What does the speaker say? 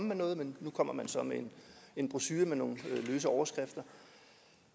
med noget men nu kommer man så med en brochure med nogle løse overskrifter